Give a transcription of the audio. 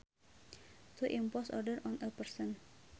To impose order on a person